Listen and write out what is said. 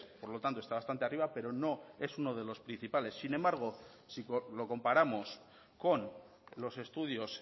por lo tanto está bastante arriba pero no es uno de los principales sin embargo si lo comparamos con los estudios